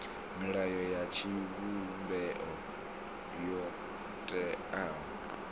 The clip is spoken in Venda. milayo ya tshivhumbeo yo teaho